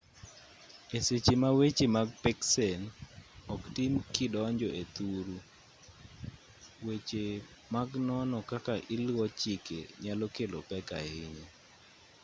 e seche ma weche mag peksen oktim kidonjo e thuru weche mag nono kaka iluwo chike nyalo kelo pek ahinya